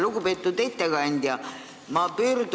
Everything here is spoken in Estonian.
Lugupeetud ettekandja!